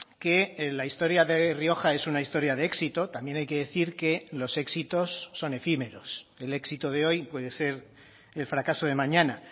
que la historia de rioja es una historia de éxito también hay que decir que los éxitos son efímeros el éxito de hoy puede ser el fracaso de mañana